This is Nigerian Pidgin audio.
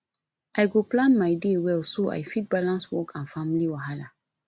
i go plan my day well so i fit balance work and family wahala